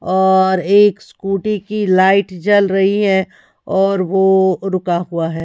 और एक स्कूटी की लाइट जल रही है और वो रुका हुआ है।